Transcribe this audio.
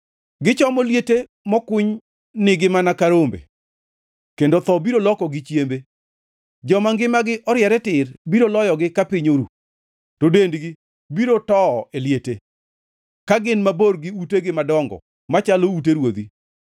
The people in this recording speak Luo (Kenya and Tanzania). Gichomo liete mokuny nigi mana kaka rombe kendo tho biro lokogi chiembe. Joma ngimagi oriere tir biro loyogi ka piny oru, to dendgi biro towo e liete, ka gin mabor gi utegi madongo machalo ute ruodhi.